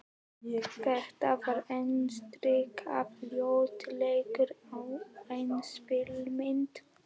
Þetta var andstyggð ljótleikans á eigin spegilmynd.